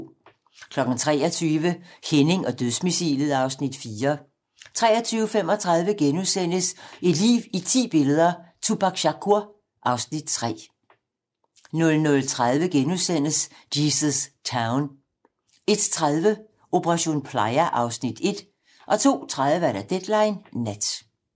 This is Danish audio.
23:00: Henning og dødsmissilet (Afs. 4) 23:35: Et liv i ti billeder - Tupac Shakur (Afs. 3)* 00:30: Jesus Town * 01:30: Operation Playa (Afs. 1) 02:30: Deadline nat